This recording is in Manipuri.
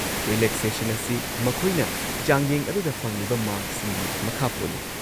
ꯔꯤꯂꯦꯛꯁꯦꯁꯟ ꯑꯁꯤ ꯃꯈꯣꯏꯅ ꯆꯥꯡꯌꯦꯡ ꯑꯗꯨꯗ ꯐꯪꯂꯤꯕ ꯃꯥꯔꯛꯁꯤꯡꯒꯤ ꯃꯈꯥ ꯄꯣꯜꯂꯤ꯫